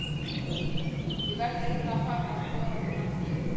Ég verð eiginlega að fara að skora með landsliðinu.